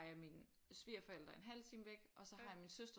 Jeg mine svigerforældre en halv time væk og så har jeg min søster